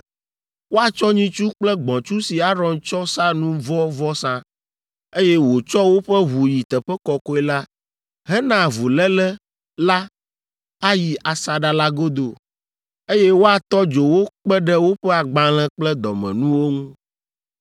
Woatsɔ nyitsu kple gbɔ̃tsu si Aron tsɔ sa nu vɔ̃ vɔsa, eye wòtsɔ woƒe ʋu yi Teƒe Kɔkɔe la hena avuléle la ayi asaɖa la godo, eye woatɔ dzo wo kpe ɖe woƒe agbalẽ kple dɔmenuwo ŋu.